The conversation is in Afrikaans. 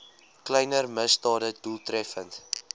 kleiner misdade doeltreffend